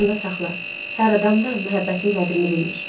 Yadında saxla, hər adam da məhəbbətin qədrini bilmir.